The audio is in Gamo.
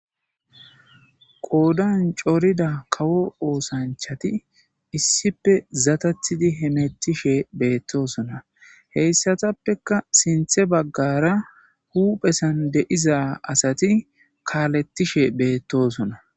qoodan corida kawo oosanchati issipe zatathidi hemettishe beettosona heyssatappeka sinthe baggara huphesan de7iza asati kaalethishe beettosona